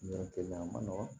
Yɔrɔ te ɲan a ma nɔgɔn